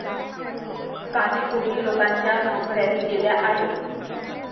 काही कोटी लोकांच्या नोकऱ्याही गेल्या आहेत.